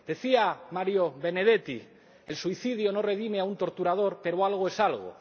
Decía Mario Benedetti El suicidio no redime a un torturador pero algo es algo.